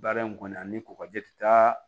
Baara in kɔni ani kɔkɔji tɛ taa